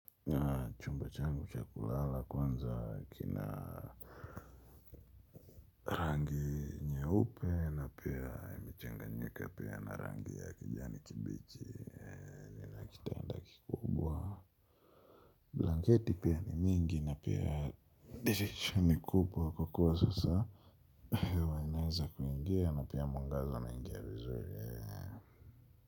Chumbachangu chakulala kwanza kina rangi nye upe na pia imechanga nyika pia na rangi ya kijani kibichi blanketi pia ni mingi na pia dirisha ni kubwa kwa kuwa sasa hewa inaweza kuingia na pia mwangazauna ingiavizuri.